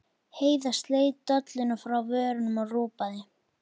Heiða sleit dolluna frá vörunum og ropaði.